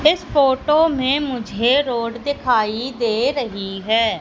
इस फोटो में मुझे रोड दिखाई दे रही है।